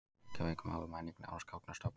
Reykjavík: Mál og menning: Námsgagnastofnun.